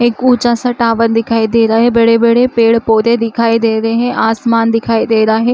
एक ऊँचा सा टावर दिखाई दे रहा है बड़े-बड़े पेड़-पौधे दिखाई दे रहे है आसमान दिखाई दे रहे है।